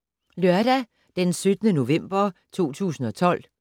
Lørdag d. 17. november 2012